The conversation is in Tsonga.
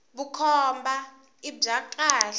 vukhomba i bya khale